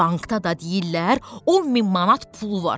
Bankda da deyirlər 10 min manat pulu var.